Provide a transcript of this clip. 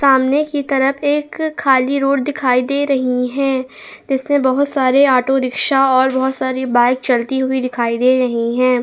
सामने की तरफ एक खाली रोड दिखाई दे रही है इसलिए बहुत सारे ऑटो रिक्शा और बहुत सारी बाइक चलती हुई दिखाई दे रही है।